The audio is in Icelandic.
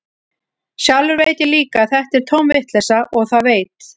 Sjálfur veit ég líka að þetta er tóm vitleysa, og það veit